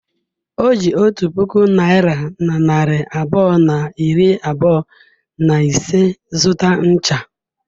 O ji otu puku naịra na narị abụọ na iri abụọ na ise zụta ncha.